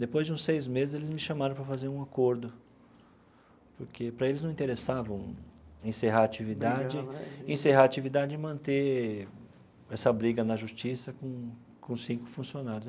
Depois de uns seis meses, eles me chamaram para fazer um acordo, porque para eles não interessava encerrar a atividade, encerrar a atividade e manter essa briga na justiça com com cinco funcionários.